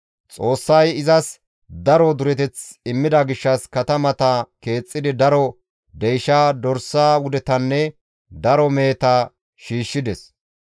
Xoossay izas daro dureteth immida gishshas katamata keexxidi daro deysha, dorsa wudetanne daro meheta shiishshides.